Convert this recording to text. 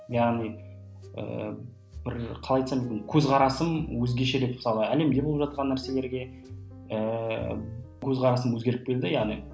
яғни ыыы бір қалай айтсам екен көзқарасым өзгеше деп мысалы әлемде болып жатқан нәрселерге ііі көзқарасым өзгеріп келді яғни